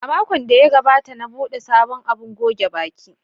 A makon da ya gabata, na buɗe sabon abun goge baki.